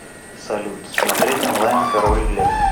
салют смотреть онлайн король лев